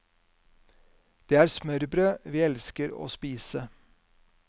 Det er smørbrød vi elsker å spise.